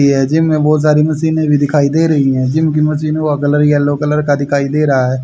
ये जिम है बहोत सारी मशीनें भी दिखाई दे रही है जिम के मशीनो का कलर एलो कलर का दिखाई दे रहा है।